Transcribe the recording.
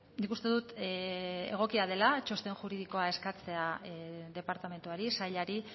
nik uste dut egokia dela txosten juridikoa eskatzea departamentuari sailari